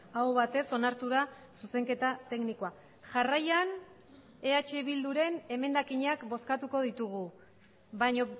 aho batez onartu da zuzenketa teknikoa jarraian eh bilduren emendakinak bozkatuko ditugu baina